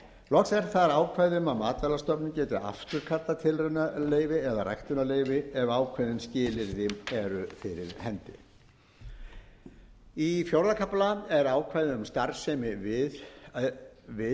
loks er þar ákvæði um að matvælastofnun geti afturkallað tilraunaleyfi eða ræktunarleyfi ef ákveðin skilyrði eru fyrir hendi í fjórða kafla er ákvæði um starfsemi við skeldýraræktina